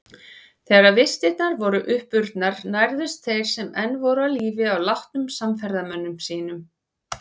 Þegar vistirnar voru uppurnar nærðust þeir sem enn voru á lífi á látnum samferðamönnum sínum.